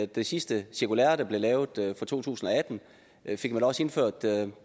det sidste cirkulære der blev lavet i to tusind og atten fik man også indført